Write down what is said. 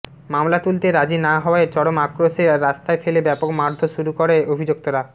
মামলা তুলতে রাজি না হওয়ায় চরম আক্রোশে রাস্তায় ফেলে ব্যাপক মারধোর শুরু করে অভিযুক্তরা